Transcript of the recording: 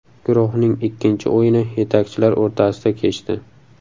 Guruhning ikkinchi o‘yini yetakchilar o‘rtasida kechdi.